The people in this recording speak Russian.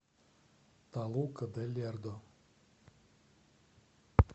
толука де лердо